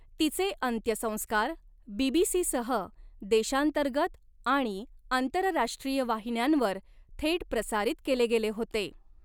तिचे अंत्यसंस्कार बी.बी.सी.सह देशांतर्गत आणि आंतरराष्ट्रीय वाहिन्यांवर थेट प्रसारित केले गेले होते.